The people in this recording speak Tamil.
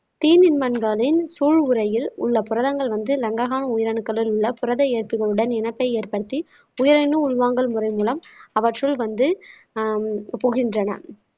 தீநுண்மங்களின் சூழ் உறையில் உள்ள புரதங்கள் வந்து லங்கஹான் உயிரணுக்களுள் உள்ள புரத இயக்கங்களுடன் இனத்தை ஏற்படுத்தி புயலினும் உள்வாங்கல் முறை மூலம் அவற்றுள் வந்து ஆஹ் புகின்றன